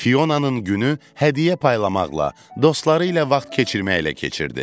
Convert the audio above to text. Fionanın günü hədiyyə paylamaqla, dostları ilə vaxt keçirməklə keçirdi.